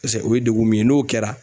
Pɛse o ye degun min ye n'o kɛra